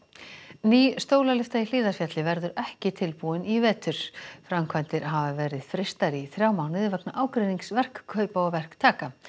ný stólalyfta í Hlíðarfjalli verður ekki tilbúin í vetur framkvæmdir hafa verið frystar í þrjá mánuði vegna ágreinings verkkaupa og verktaka